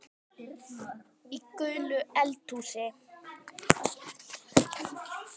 Í gulu eldhúsi